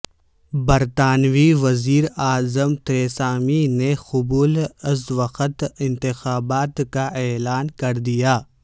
برطانوی وزیراعظم تھریسامے نے قبل از وقت انتخابات کا اعلان کردیا